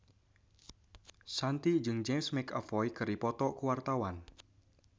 Shanti jeung James McAvoy keur dipoto ku wartawan